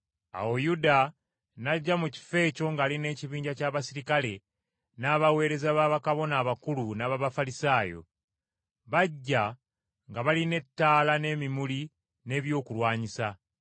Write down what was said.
Awo Yuda n’ajja mu kifo ekyo ng’ali n’ekibinja ky’abaserikale, n’abaweereza ba Bakabona abakulu n’ab’Abafalisaayo. Bajja nga balina ettaala n’emimuli n’ebyokulwanyisa.